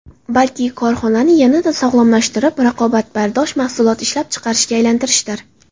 Balki, korxonani yanada sog‘lomlashtirib, raqobatbardosh mahsulot ishlab chiqarishga aylantirishdir”.